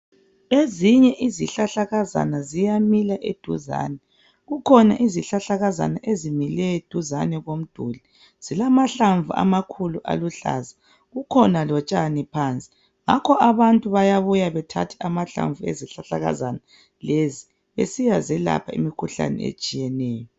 Ezinye izihlahlakazana ziyamila eduzane. Kukhona izihlahlakazana ezimile duzane komduli. Zilamahlamvu amakhulu aluhlaza, kukhona lotshani phansi. Ngakho abantu bayabuya bethathe amahlamvu ezihlahlakazana lezi besiyazelapha imikhuhlani etshiyeneyo.